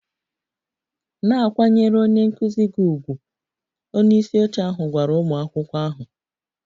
Na-akwanyere onye nkụzi gị ùgwù! Onye isi oche ahụ gwara ụmụ akwụkwọ ahụ